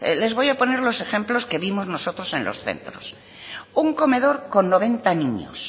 les voy a poner los ejemplos que vimos nosotros en los centros un comedor con noventa niños